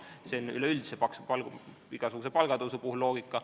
See on üleüldse igasuguse palgatõusu loogika.